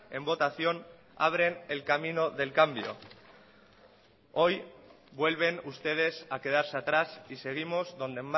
en votación abren el camino del cambio hoy vuelven ustedes a quedarse atrás y seguimos donde